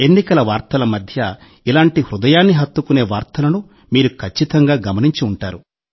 ఎన్నికల వార్తల మధ్య ఇలాంటి హృదయాన్ని హత్తుకునే వార్తలను మీరు ఖచ్చితంగా గమనించి ఉంటారు